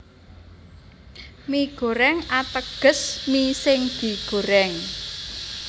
Mie Goreng ateges mi sing digorèng